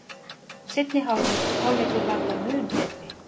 Seinni hálfleikur var þó mun betri